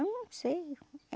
Eu não sei.